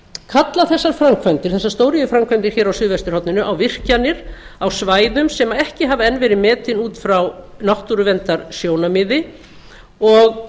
kalla þessar stóriðjuframkvæmdir á suðvesturhorninu á virkjanir á svæðum sem ekki hafa enn verið metin út frá náttúruverndarsjónarmiði og